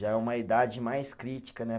Já é uma idade mais crítica, né?